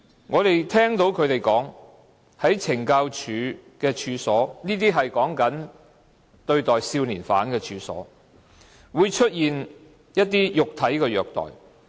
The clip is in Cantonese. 我們聽到他們說，在懲教所——說的是對待少年犯的處所——會出現一些肉體的虐待。